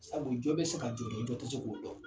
Sabu jɔ bɛ se ka jɔ dɔn jɔ tɛ se k'o dɔn